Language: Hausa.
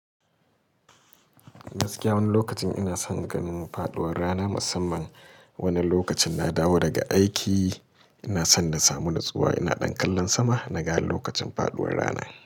Gaskiya wani lokacin ina son ganin faɗuwar rana, musamman wani lokacin na dawo daga aiki. Ina son na samu natsuwa, ina ɗan kallon sama naga lokacin faɗuwar rana.